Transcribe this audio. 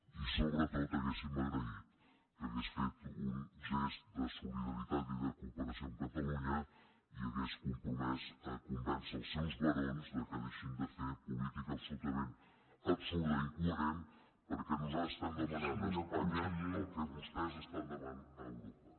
i sobretot hauríem agraït que hagués fet un gest de solidaritat i de cooperació amb catalunya i s’hagués compromès a convèncer els seus barons que deixin de fer política absolutament absurda i incoherent perquè nosaltres demanem a espanya el que vostès demanen a europa